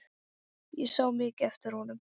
Ég sá mikið eftir honum.